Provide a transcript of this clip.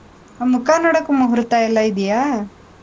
ಆಹ್ ಮುಖ ನೋಡೋಕೂ ಮುಹೂರ್ತ ಎಲ್ಲಾ ಇದ್ಯಾ?